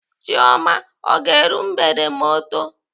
Chioma ọ ga-eru mgbede ma ọ too?